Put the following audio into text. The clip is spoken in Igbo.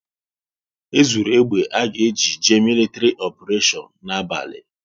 E zuru egbe à ga eji jee militri oparetion n'abalị